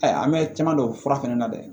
Ayi an bɛ caman don o fura fana na dɛ